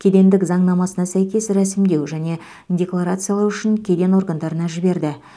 кедендік заңнамасына сәйкес рәсімдеу және декларациялау үшін кеден органдарына жіберді